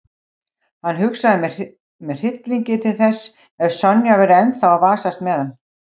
Hann hugsaði með hryllingi til þess ef Sonja væri ennþá að vasast með hann.